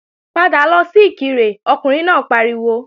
Padà lọ sí Ìkirè Ọkùnrin náà pariwo!